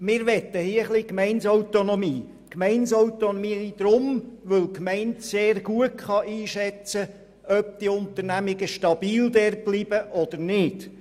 Wir möchten hier ein wenig Gemeindeautonomie, weil die Gemeinde sehr gut einschätzen kann, ob Unternehmungen dort stabil bleiben oder nicht.